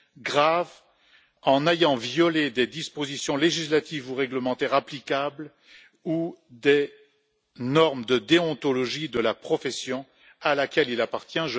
grave, en ayant violé des dispositions législatives ou réglementaires applicables ou des normes de déontologie de la profession à laquelle il appartient